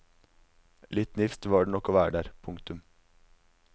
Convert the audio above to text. Litt nifst var det nok å være der. punktum